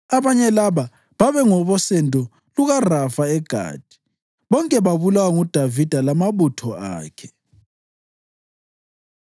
Abane laba babengabosendo lukaRafa eGathi, bonke babulawa nguDavida lamabutho akhe.